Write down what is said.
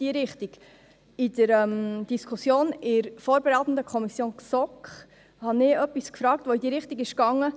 In der Diskussion in der vorberatenden Kommission GSoK fragte ich etwas, das in diese Richtung ging.